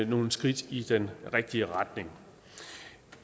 nogle skridt i den rigtige retning